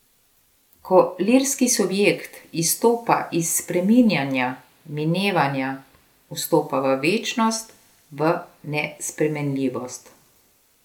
Ko lirski subjekt izstopa iz spreminjanja, minevanja, vstopa v večnost, v nespremenljivost.